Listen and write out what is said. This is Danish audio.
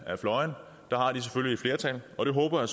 flertal og det håber